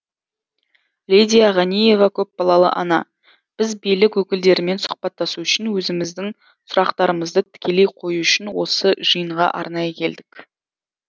лидия ғаниева көпбалалы ана біз билік өкілдерімен сұхбаттасу үшін өзіміздің сұрақтарымызды тікелей қою үшін осы жиынға арнайы келдік